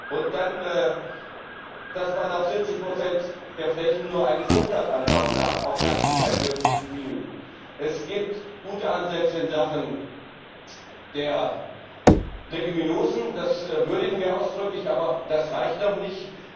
Und dass man auf 70 der Flächen nur eine Fruchtart anbauen darf, auch das ist kein wirkliches Greening. Es gibt gute Ansätze in Sachen Leguminosen, das würdigen wir ausdrücklich, aber das reicht noch nicht!